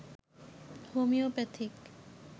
homeopathic